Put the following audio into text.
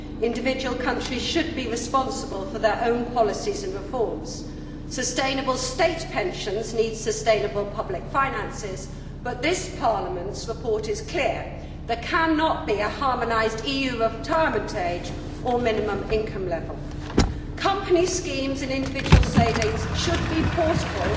Individual countries should be responsible for their own policies and reforms. Sustainable state pensions need sustainable public finances, but this Parliament's report is clear there cannot be a harmonised EU retirement age or minimum income level. Company schemes and individual savings should be portable